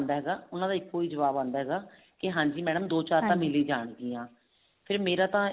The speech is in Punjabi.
ਉਹਨਾ ਦਾ ਇਹੀ ਜਵਾਬ ਹੁੰਦਾ ਹਾਂਜੀ madam ਦੋ ਚਾਰ ਤਾਂ ਮਿਲ ਹੀ ਫ਼ੇਰ ਮੇਰਾ ਫ਼ੇਰ